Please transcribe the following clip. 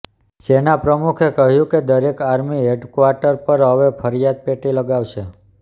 સેના પ્રમુખે કહ્યું કે દરેક આર્મી હેડક્વાર્ટર પર હવે ફરિયાદ પેટી લગાવાશે